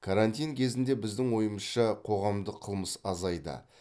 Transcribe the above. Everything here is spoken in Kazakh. карантин кезінде біздің ойымызша қоғамдық қылмыс азайды